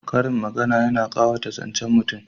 Karin magana yana ƙawata zancen mutum